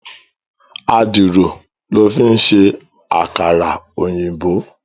Àdìrò lò fin sé àkárà-óyinbó